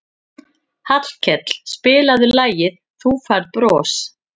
Hallkell, spilaðu lagið „Þú Færð Bros“.